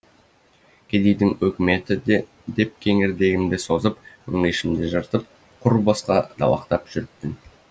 кедейдің өкіметі деп кеңірдегімді созып өңешімді жыртып құр босқа далақтап жүріппін